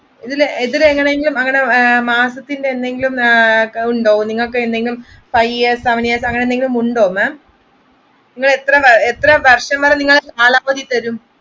ഇതിൽ എന്തെങ്കിലും മാസത്തിന്റെ അങ്ങനെ എന്തെങ്കിലുമുണ്ടോ pioneers അങ്ങനെ എന്തെങ്കിലുമുണ്ടോ ma'am?